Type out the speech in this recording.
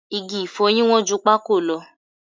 Igi ìfọyín wọ́n ju pákò lọ